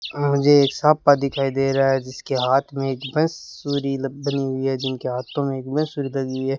मुझे एक मुझे एक साफा दिखाई दे रहा है जिसके हाथ में बांसुरी बनी हुई है जिनके हाथों में एक बांसुरी बनी है।